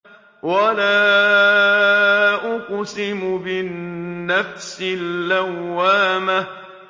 وَلَا أُقْسِمُ بِالنَّفْسِ اللَّوَّامَةِ